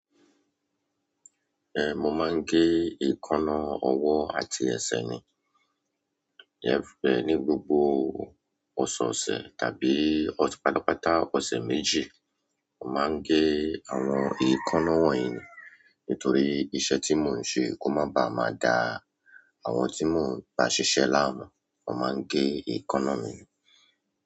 Eh, mo máa ń gé èékánná ọwọ́ àti ẹsẹ̀ mi. Eh, ní gbogbo ọ̀sọ̀ọ̀sẹ̀ tàbí pàtàpàtà ọ̀sẹ̀ méjì, mo máa ń gé àwọn èékánná wọ̀nyí nítorí iṣẹ́ tí mò ń ṣe kò máa ba à máa ga. Àwọn tí mò ń bá ṣiṣẹ́ láàmú, wọ́n máa ń gé èékánná mi ni.